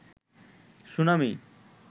tsunami